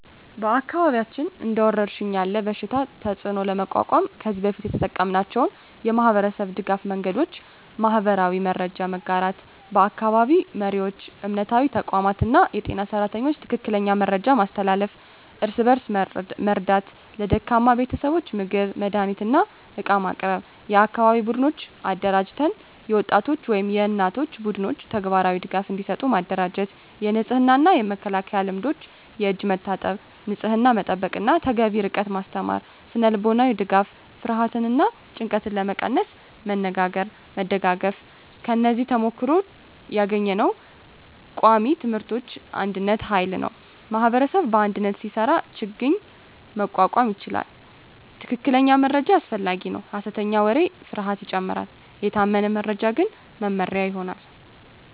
በአካባቢያችን እንደ ወረሽኝ ያለ በሽታ ተፅዕኖ ለመቋቋም ከዚህ በፊት የተጠቀምናቸው የማህበረሰብ ድገፍ መንገዶች :- የማህበራዊ መረጃ መጋራት በአካባቢ መሪዎች፣ እምነታዊ ተቋማት እና የጤና ሰራተኞች ትክክለኛ መረጃ ማስተላለፍ። እርስ በእርስ መርዳት ለደካማ ቤተሰቦች ምግብ፣ መድሃኒት እና ዕቃ ማቅረብ። የአካባቢ ቡድኖች አደራጀት የወጣቶች ወይም የእናቶች ቡድኖች ተግባራዊ ድጋፍ እንዲሰጡ ማደራጀት። የንጽህና እና መከላከያ ልምዶች የእጅ መታጠብ፣ ንጽህና መጠበቅ እና ተገቢ ርቀት ማስተማር። ስነ-ልቦናዊ ድጋፍ ፍርሃትን እና ጭንቀትን ለመቀነስ መነጋገርና መደጋገፍ። ከዚህ ተሞክሮ ያገኘነው ቃሚ ትምህርቶች አንድነት ኃይል ነው ማኅበረሰብ በአንድነት ሲሰራ ችግኝ መቋቋም ይቻላል። ትክክለኛ መረጃ አስፈላጊ ነው ሐሰተኛ ወሬ ፍርሃትን ይጨምራል፤ የታመነ መረጃ ግን መመሪያ ይሆናል።